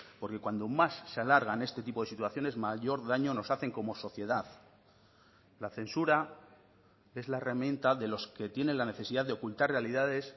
porque cuando más se alargan este tipo de situaciones mayor daño nos hacen como sociedad la censura es la herramienta de los que tienen la necesidad de ocultar realidades